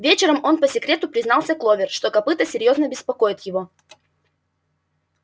вечером он по секрету признался кловер что копыто серьёзно беспокоит его